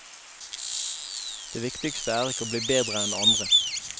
Det viktigste er ikke å bli bedre enn andre.